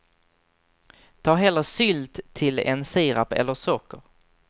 Ta hellre sylt till än sirap eller socker.